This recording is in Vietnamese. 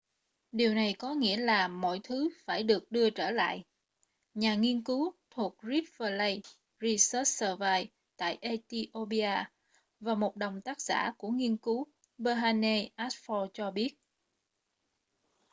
điều này có nghĩa là mọi thứ phải được đưa trở lại nhà nghiên cứu thuộc rift valley research service tại ethiopia và một đồng tác giả của nghiên cứu berhane asfaw cho biết